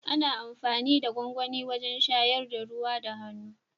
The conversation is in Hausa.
Ana amfani da gwangwani wajen shayar da ruwa da hannu.